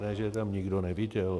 Ne, že je tam nikdo neviděl.